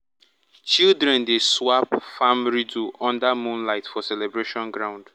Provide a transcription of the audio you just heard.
children dey swap farm riddle under moonlight for celebration ground.